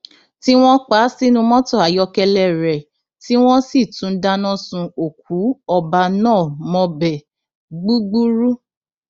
tí wọn pa á sínú mọtò ayọkẹlẹ rẹ tí wọn sì tún dáná sun òkú ọba náà mọbẹ gbúgbúrú